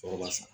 Sɔrɔ b'a san